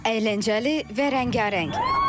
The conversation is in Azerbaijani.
Əyləncəli və rəngarəng.